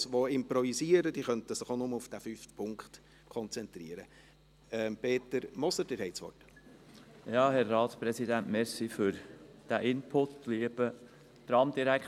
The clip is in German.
Im Prinzip könnten Sie sich auch nur auf den fünften Punkt fokussieren, jedenfalls die Sprechenden, die ihr Votum nicht vorbereitet haben und improvisieren.